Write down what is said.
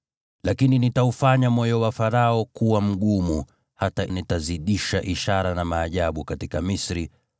Lakini nitaufanya moyo wa Farao kuwa mgumu. Ingawa nitazidisha ishara na maajabu katika Misri,